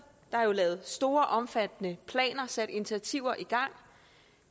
der er jo lavet store omfattende planer sat initiativer i gang